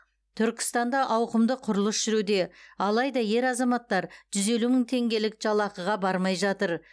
түркістанда ауқымды құрылыс жүруде алайда ер азаматтар жүз елу мың теңгелік жалақыға бармай жатыр